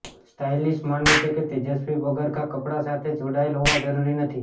stylist માને છે કે તેજસ્વી પગરખાં કપડાં સાથે જોડાયેલા હોવા જરૂરી નથી